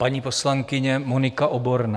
Paní poslankyně Monika Oborná.